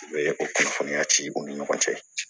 U bɛ o kunnafoniya ci u ni ɲɔgɔn cɛ